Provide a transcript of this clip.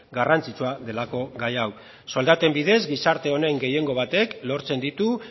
garrantzitsua delako gai hau soldaten bidez gizarte honen gehiengo batek lortzen ditu